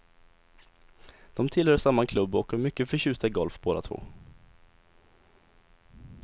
De tillhör samma klubb och är mycket förtjusta i golf båda två.